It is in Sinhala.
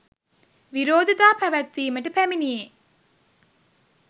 විරෝධතා පැවැත්වීමට පැමිණියේ